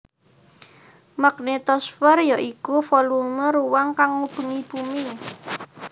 Magnetosfer ya iku volume ruang kang ngubengi bumi